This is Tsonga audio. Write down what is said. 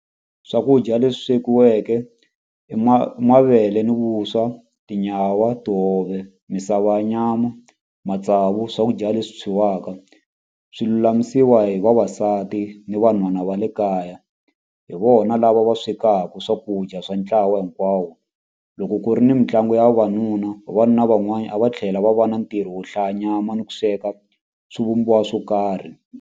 Swakudya leswi swekiweke i mavele ni vuswa tinyawa tihove misava nyama matsavu swakudya leswi swi lulamisiwa hi vavasati ni vanhu nhwana va le kaya hi vona lava va swekaka swakudya swa ntlawa hinkwawo loko ku ri ni mitlangu ya vavanuna vavanuna van'wana a va tlhela va va na ntirho wo hlaya nyama ni ku sweka swivumbiwa swo karhi.